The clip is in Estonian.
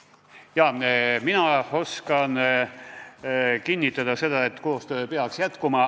Jah, mina oskan kinnitada seda, et koostöö peaks jätkuma.